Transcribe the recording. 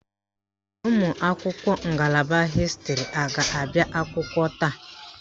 Ụmụakwụkwọ ngalaba hịstịrị a ga-abịa akwụkwọ taa?